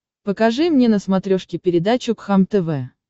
покажи мне на смотрешке передачу кхлм тв